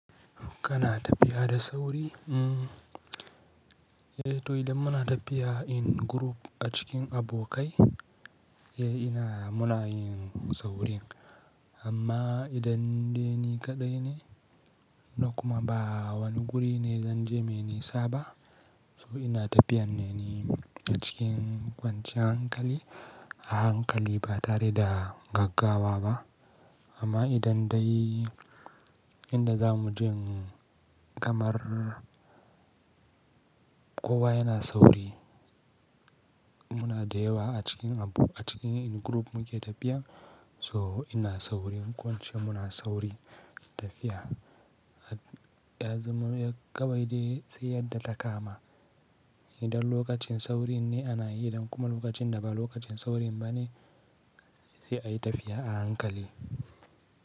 Kana tafiya da sauri? Eh, to idan muna tafiya in group a cikin abokai, eh ina muna yin saurin. Amma idan dai ni kaɗai ne, da kuma ba wani guri ne zan je mene saba, so ina tafiyan ne ni a cikin kwancin hankali, a hankali ba tare da gaggawa ba. Amma idan dai inda za mu je kamar kowa yana sauri, muna da yawa a cikin abu a cikin in group muke tafiya, so ina saurin kwance muna sauri tafiya. Ya zama ya kawai dai sai yadda ta kama. Idan lokacin saurin ne ana yi, idan kuma lokacin da ba lokacin saurin ba ne, sai a yi tafiya a hankali.